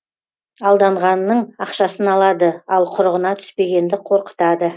алданғанның ақшасын алады ал құрығына түспегенді қорқытады